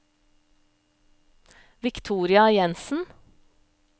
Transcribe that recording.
Victoria Jensen